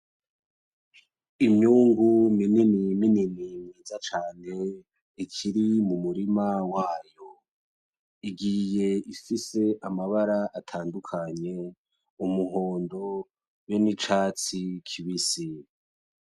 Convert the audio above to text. Imyungu minini minini myiza cane ikiri mu murima wayo, igiye ifise amabara atandukanye: umuhondo be n'icatsi kibisi.